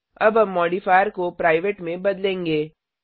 अब हम मॉडिफायर को प्राइवेट में बदलेंगे